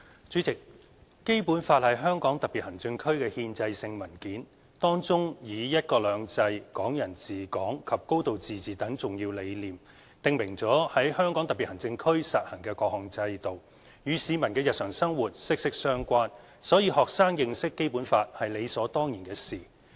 主席，《基本法》是香港特別行政區的憲制性文件，當中以"一國兩制"、"港人治港"及"高度自治"等重要理念，訂明了在香港特別行政區實行的各項制度，與市民的日常生活息息相關，所以學生認識《基本法》是理所當然的事。